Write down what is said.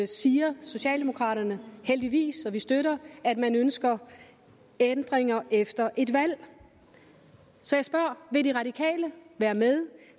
siger socialdemokraterne heldigvis og det støtter vi at man ønsker ændringer efter et valg så jeg spørger vil de radikale være med